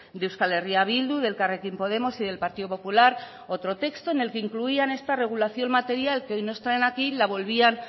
de euskal herria bildu de elkarrekin podemos y del partido popular otro texto en el que incluían esta regulación material que hoy nos traen aquí la volvían